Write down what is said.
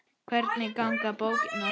Hvernig ganga bókanir þar?